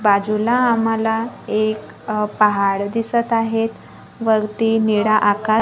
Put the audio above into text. बाजूला आम्हाला एक अह पहाड दिसत आहेत वरती निळ आका--